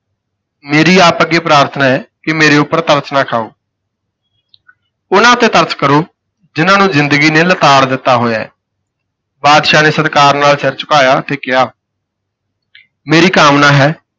ਮੇਰੀ ਆਪ ਅੱਗੇ ਪ੍ਰਾਰਥਨਾ ਹੈ ਕਿ ਮੇਰੇ ਉੱਪਰ ਤਰਸ ਨਾ ਖਾਓ ਉਹਨਾਂ ਤੇ ਤਰਸ ਕਰੋ ਜਿਹਨਾਂ ਨੂੰ ਜ਼ਿੰਦਗੀ ਨੇ ਲਿਤਾੜ ਦਿੱਤਾ ਹੋਇਆ ਹੈ। ਬਾਦਸ਼ਾਹ ਨੇ ਸਤਿਕਾਰ ਨਾਲ ਸਿਰ ਝੁਕਾਇਆ ਤੇ ਕਿਹਾ ਮੇਰੀ ਕਾਮਨਾ ਹੈ।